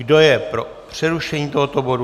Kdo je pro přerušení tohoto bodu?